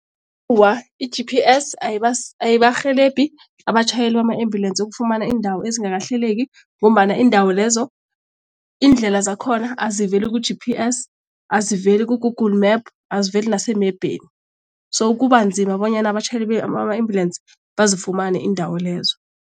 i-G_P_S ayibarhelebhi abatjhayeli bama-ambulensi ukufumana iindawo ezingakahleleki ngombana iindawo lezo iindlela zakhona aziveli ku-G_P_S, aziveli ku-Google map aziveli nasemebheni so kubanzima bonyana abatjhayeli bama-ambulensi bazifumane iindawo lezo.